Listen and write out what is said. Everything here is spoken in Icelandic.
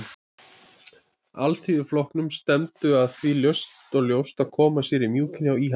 Alþýðuflokknum stefndu að því ljóst og leynt að koma sér í mjúkinn hjá íhaldinu.